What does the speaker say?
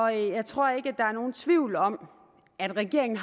jeg tror ikke at der er nogen tvivl om at regeringen